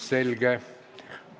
Selge.